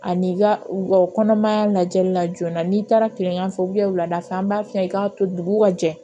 Ani i ka u ka kɔnɔmaya lajɛli la joona n'i taara kilkanfɛ wulada fɛ an b'a f'i ye k'a to dugu ka jɛ